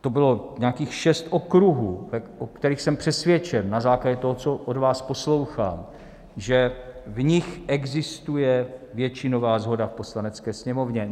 To bylo nějakých šest okruhů, o kterých jsem přesvědčen na základě toho, co od vás poslouchám, že v nich existuje většinová shoda v Poslanecké sněmovně.